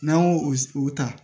N'an y'o o ta